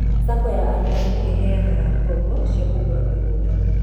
SACCO ya arutani nĩ ĩmaheaga ngoombo cia kũgũra mĩgũnda